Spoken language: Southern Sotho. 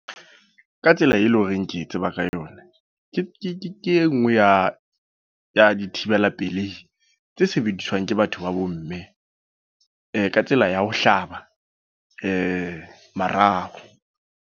Ka tsela e leng horeng ke e tseba ka yona. ke e nngwe ya, ya di thibela pelehi tse sebediswang ke batho ba bomme. Ka tsela ya ho hlaba marao.